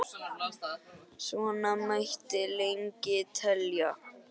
Svona mætti lengi telja.